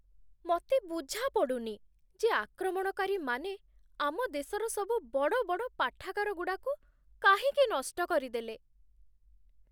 ମତେ ବୁଝାପଡ଼ୁନି ଯେ ଆକ୍ରମଣକାରୀମାନେ ଆମ ଦେଶର ସବୁ ବଡ଼ବଡ଼ ପାଠାଗାରଗୁଡ଼ାକୁ କାହିଁକି ନଷ୍ଟ କରିଦେଲେ ।